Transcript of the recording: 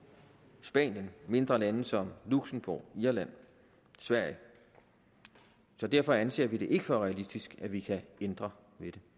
spanien og mindre lande som luxembourg irland og sverige så derfor anser vi det ikke for realistisk at vi kan ændre